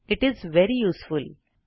it is very useful